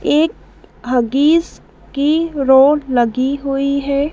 एक हग्गीज़ की रोड लगी हुई है।